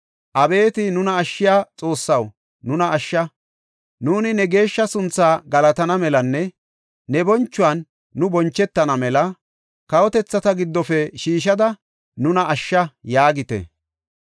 “Abeeti nuna ashshiya Xoossaw nuna ashsha; Nuuni ne geeshsha suntha galatana melanne ne bonchuwan nu bonchetana mela, kawotethata giddofe shiishada nuna ashsha” yaagite.